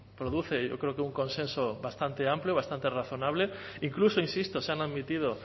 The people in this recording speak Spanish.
produce yo creo que un consenso bastante amplio y bastante razonable incluso insisto se han admitido